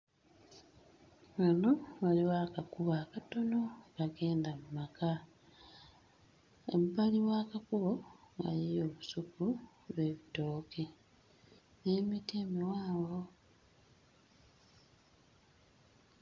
Wano waliwo akakubo akatono akagenda mu maka ebbali w'akakubo waliyo olusuku lw'ebitooke n'emiti emiwanvu.